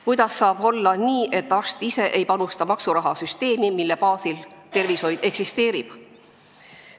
Kuidas saab olla nii, et arst ise ei panusta maksurahasüsteemi, mille baasil tervishoid eksisteerib?